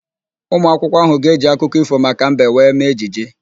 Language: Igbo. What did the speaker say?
Ụmụakwụkwọ ahụ ga-eji akụkọ ífò maka mbe wee mee ejije.